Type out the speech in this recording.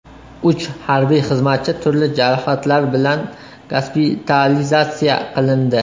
Uch harbiy xizmatchi turli jarohatlar bilan gospitalizatsiya qilindi.